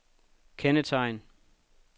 kendetegn